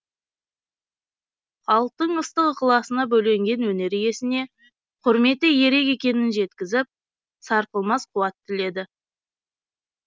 халықтың ыстық ықыласына бөленген өнер иесіне құрметі ерек екенін жеткізіп сарқылмас қуат тіледі